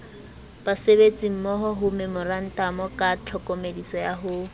basebetsimmohomemorantamo ka tlhokomediso ya ho